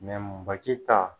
ba ta